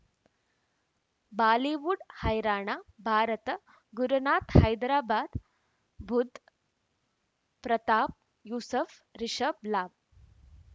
Bollywood ಹೈರಾಣ ಭಾರತ ಗುರುನಾಥ್ ಹೈದರಾಬಾದ್ ಬುಧ್ ಪ್ರತಾಪ್ ಯೂಸುಫ್ ರಿಷಬ್ ಲಾಭ